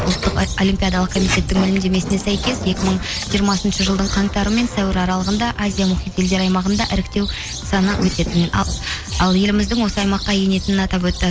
ұлттық олимпиадалық комитеттің мәлімдемесіне сәйкес екі мың жиырмасыншы жылдың қаңтарымен сәуір аралығында азия мұхит елдері аймағында іріктеу саны өтетін ал еліміздің осы аймаққа енетінін атап өтті